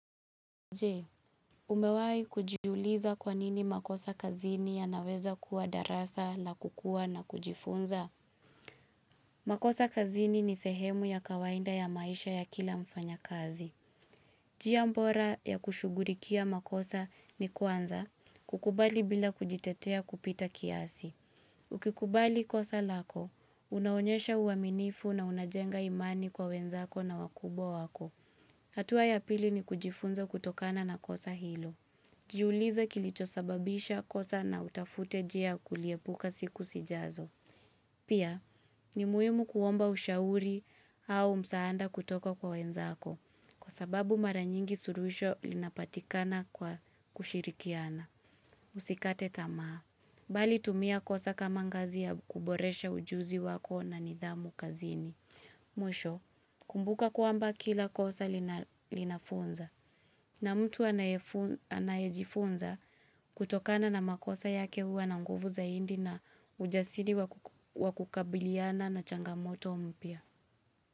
Je, umewai kujiuliza kwa nini makosa kazini yanaweza kuwa darasa la kukuwa na kujifunza? Makosa kazini ni sehemu ya kawainda ya maisha ya kila mfanyakazi. Jia mbora ya kushugurikia makosa ni kwanza, kukubali bila kujitetea kupita kiasi. Ukikubali kosa lako, unaonyesha uaminifu na unajenga imani kwa wenzako na wakubwa wako. Hatuwa ya pili ni kujifunza kutokana na kosa hilo. Jiulize kilichosababisha kosa na utafute jia kuliepuka siku sijazo. Pia, ni muhimu kuomba ushauri au msaanda kutoka kwa wenzako. Kwa sababu mara nyingi suruhisho linapatikana kwa kushirikiana. Usikate tamaa. Bali tumia kosa kama ngazi ya kuboresha ujuzi wako na nidhamu kazini. Mwisho, kumbuka kwamba kila kosa linafunza. Na mtu anayejifunza kutokana na makosa yake huwa na nguvu zaindi na ujasiri wakukabiliana na changamoto mpya.